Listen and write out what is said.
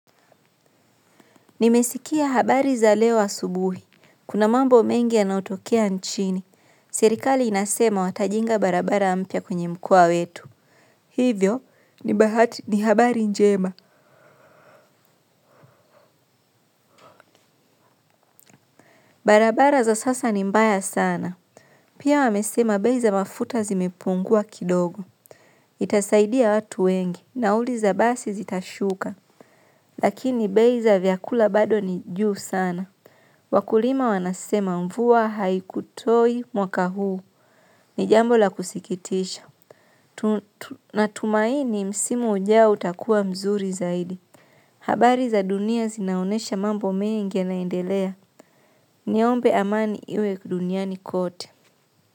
Nimesikia habari za leo asubuhi. Kuna mambo mengi yanaotokea nchini. Serikali inasema watajenga barabara mpya kwenye mkoa wetu. Hivyo, ni habari njema. Barabara za sasa ni mbaya sana. Pia wamesema bei za mafuta zimepungua kidogo. Itasaidia watu wengi. Nauli za basi zitashuka. Lakini bei za vyakula bado ni juu sana. Wakulima wanasema mvua haikutoi mwaka huu, ni jambo la kusikitisha. Natumaini msimu ujao utakuwa mzuri zaidi. Habari za dunia zinaonesha mambo mengi yanaendelea. Niombe amani iwe dunia ni kote.